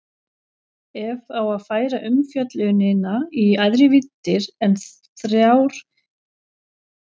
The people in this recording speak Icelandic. Ef á að færa umfjöllunina í æðri víddir en þrjár kemst handverksmaðurinn þó í bobba.